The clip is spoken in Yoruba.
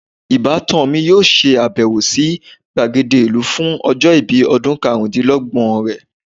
ibatan mi yoo se abewo si gbagede ilu fun ojo ibi odun karundinlogbon re